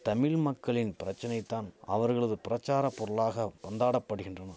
தமிழ் மக்களின் பிரச்சனைதான் அவர்களது பிரசாரப் பொருளாக பந்தாடப்படிகின்றன்